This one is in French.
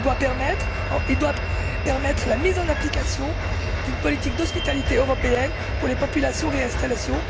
Il doit permettre la mise en application d'une politique d'hospitalité européenne pour les populations en réinstallation.